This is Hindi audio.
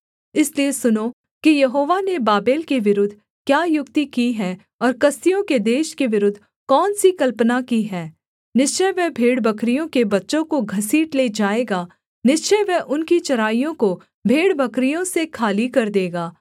इसलिए सुनो कि यहोवा ने बाबेल के विरुद्ध क्या युक्ति की है और कसदियों के देश के विरुद्ध कौन सी कल्पना की है निश्चय वह भेड़बकरियों के बच्चों को घसीट ले जाएगा निश्चय वह उनकी चराइयों को भेड़बकरियों से खाली कर देगा